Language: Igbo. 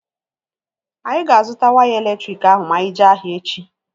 Anyị ga-azụta waya elektriki ahụ ma anyị jee ahịa echi